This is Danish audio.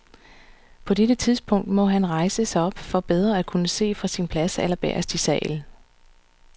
På dette tidspunkt må han rejse sig op for bedre at kunne se fra sin plads allerbagest i salen.